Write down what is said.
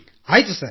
ಆಯ್ತು ಸರ್